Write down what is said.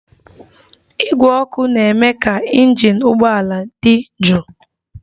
Igwe ọkụ na-eme ka injin ụgbọala di jụụ